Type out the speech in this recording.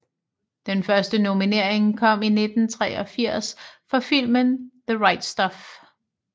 Den første nominering kom i 1983 for filmen The Right Stuff